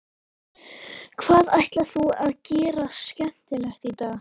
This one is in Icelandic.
Hvað ætlar þú að gera skemmtilegt í dag?